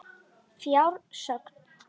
Í frásögn